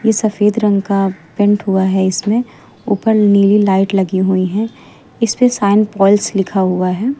ये सफेद रंग का पेंट हुआ है इसमें ऊपर नीली लाइट लगी हुई हैं इस पे साइनपोल्स लिखा हुआ है।